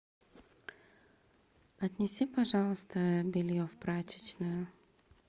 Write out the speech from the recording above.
отнеси пожалуйста белье в прачечную